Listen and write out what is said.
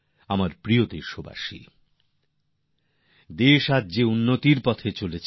আমার প্রিয় দেশবাসী দেশ আজ বিকাশের পথে চলেছে